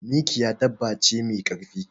Mikiya dabba ce me karfi.